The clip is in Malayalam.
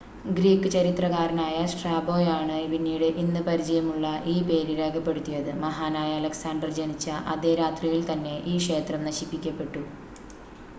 ഗ്രീക്ക് ചരിത്രകാരനായ സ്ട്രാബോയാണ് പിന്നീട് ഇന്ന് പരിചയമുള്ള ഈ പേര് രേഖപ്പെടുത്തിയത് മഹാനായ അലക്സാണ്ടർ ജനിച്ച അതേ രാത്രിയിൽ തന്നെ ഈ ക്ഷേത്രം നശിപ്പിക്കപ്പെട്ടു